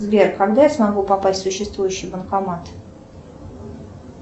сбер когда я смогу попасть в существующий банкомат